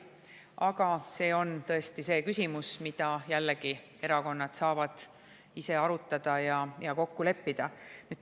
Aga see on tõesti küsimus, mida jällegi erakonnad ise saavad arutada ja kokku leppida.